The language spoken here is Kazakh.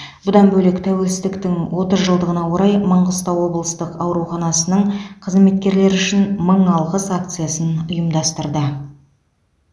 бұдан бөлек тәуелсіздіктің отыз жылдығына орай маңғыстау облыстық ауруханасының қызметкерлері үшін мың алғыс акциясын ұйымдастырды